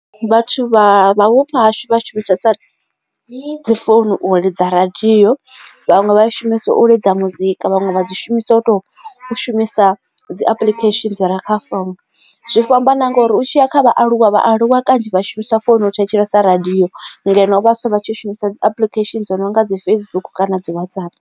Vhathu vha vhupo hashu vha shumisesa dzi founu u lidza radio vhaṅwe vha i shumisa u lidza muzika vhaṅwe vha dzi shumisa u to shumisa dzi application dzire kha founu zwi fhambana ngori u tshiya kha vhaaluwa vhaaluwa kanzhi vha shumisa founu u thetshelesa radio ngeno vhaswa vha tshi shumisa dzi application dzo no nga dzi Facebook kana dzi WhatsApp.